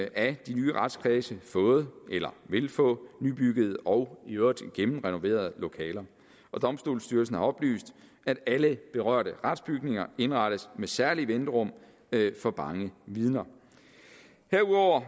af de nye retskredse fået eller vil få nybyggede og i øvrigt gennemrenoverede lokaler og domstolsstyrelsen har oplyst at alle berørte retsbygninger indrettes med særlige venterum for bange vidner herudover